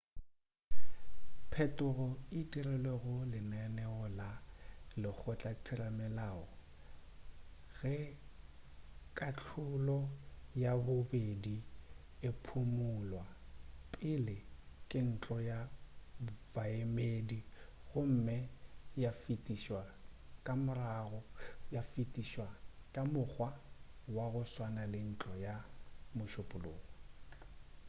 phetogo e dirilwe go lenaneo la lekgotlatheramelao ge kahlolo ya bobedi e phumulwa pele ke ntlo ya baemedi gomme ya fetišwa ka mokgwa wa go swana ke ntlo ya mošupulogo